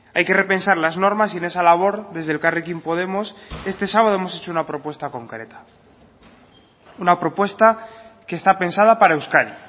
hay que repensar las normas y en esa labor desde elkarrekin podemos este sábado hemos hecho una propuesta concreta una propuesta que está pensada para euskadi